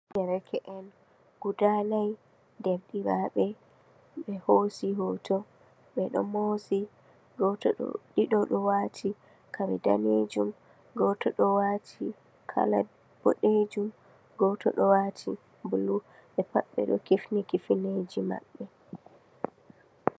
Nderke'en guda na'y derɗiraɓe, ɓe hosi hoto, ɓeɗo moosi. Goto ɗo - ɗiɗo wati kare danejum, goto ɗo wato kala boɗejum, goto ɗo wati bulu, ɓe pat ɓeɗo kifni-kifneeje maɓɓe.